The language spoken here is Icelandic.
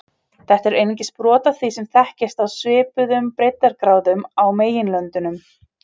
Þetta er einungis brot af því sem þekkist á svipuðum breiddargráðum á meginlöndunum.